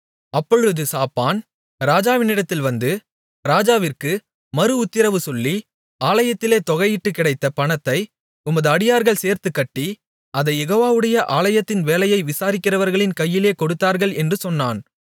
அப்பொழுது சாப்பான் ராஜாவினிடத்தில் வந்து ராஜாவிற்கு மறுஉத்திரவு சொல்லி ஆலயத்திலே தொகையிட்டுக் கிடைத்த பணத்தை உமது அடியார்கள் சேர்த்துக் கட்டி அதைக் யெகோவாவுடைய ஆலயத்தின் வேலையை விசாரிக்கிறவர்களின் கையிலே கொடுத்தார்கள் என்று சொன்னான்